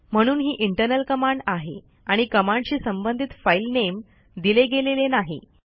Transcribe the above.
म्हणून ही internal command आहे आणि कमांडशी संबंधित फाईल नेम दिले गेलेले नाही